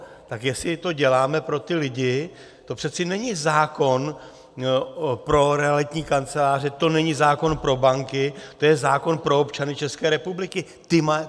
Tak jestli to děláme pro ty lidi - to přece není zákon pro realitní kanceláře, to není zákon pro banky, to je zákon pro občany České republiky.